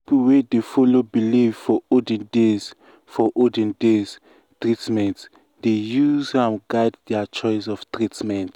people wey dey follow belief for olden days for olden days treatment dey use am guide their choice of treatment.